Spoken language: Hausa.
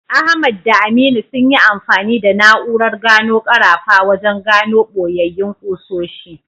Ahmad da Aminu sun yi amfani da na’urar gano karafa wajen gano boyayyin ƙusoshi.